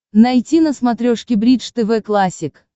найти на смотрешке бридж тв классик